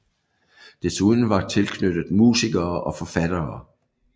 Desuden var tilknyttet musikere og forfattere